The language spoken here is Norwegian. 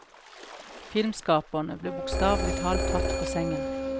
Filmskaperne ble bokstavelig talt tatt på sengen.